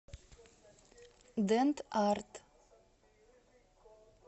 дент арт